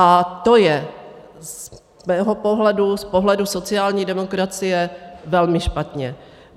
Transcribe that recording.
A to je z mého pohledu, z pohledu sociální demokracie, velmi špatně.